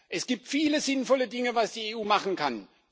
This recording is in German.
Es gibt viele sinnvolle Dinge, die die EU machen kann.